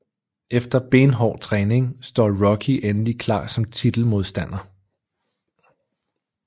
Efter benhård træning står Rocky endelig klar som titelmodstander